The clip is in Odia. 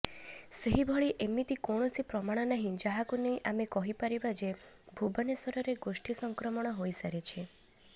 ସେହିଭଳି ଏମିତି କୌଣସି ପ୍ରମାଣ ନାହିଁ ଯାହାକୁ ନେଇ ଆମେ କହିପାରିବା ଯେ ଭୁବନେଶ୍ୱରରେ ଗୋଷ୍ଠୀ ସଂକ୍ରମଣ ହୋଇସାରିଛି